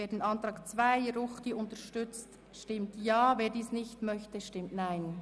Wer den Antrag 2 von Grossrat Ruchti unterstützt, stimmt Ja, wer dies nicht möchte, stimmt Nein.